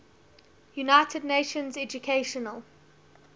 united nations educational